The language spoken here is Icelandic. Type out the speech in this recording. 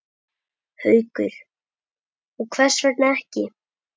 Haukur: Og hvers vegna ekki?